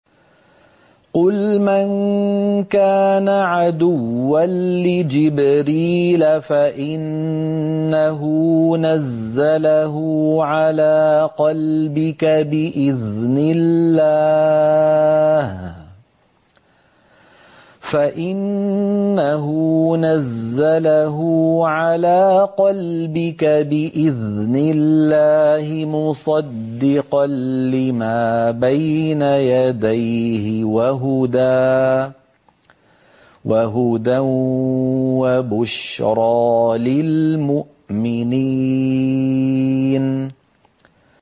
قُلْ مَن كَانَ عَدُوًّا لِّجِبْرِيلَ فَإِنَّهُ نَزَّلَهُ عَلَىٰ قَلْبِكَ بِإِذْنِ اللَّهِ مُصَدِّقًا لِّمَا بَيْنَ يَدَيْهِ وَهُدًى وَبُشْرَىٰ لِلْمُؤْمِنِينَ